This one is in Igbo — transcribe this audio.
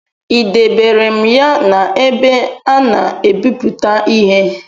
I debere m ya n’ebe a na-ebiputa ihe?